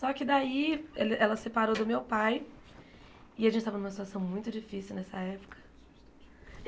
Só que daí ele ela separou do meu pai, e a gente estava numa situação muito difícil nessa época.